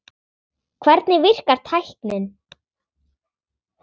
Hvernig virkar tæknin?